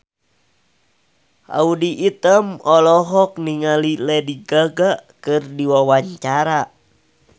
Audy Item olohok ningali Lady Gaga keur diwawancara